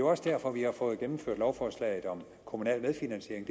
også derfor at vi har fået gennemført lovforslaget om kommunal medfinansiering